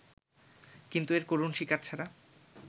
কিন্তু এর করুণ শিকার ছাড়া